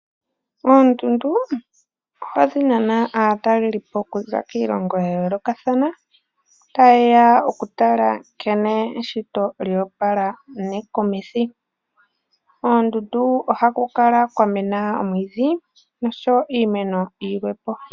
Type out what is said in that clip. Oondundu ohadhi nana aatalelipo okuza kiilongo yayolokathana ta yeya okutala nkene eshito lyoopala nekumithi. Oondundu ohaku kala kwamena omwiidhi noshowo iimeno yilwepo.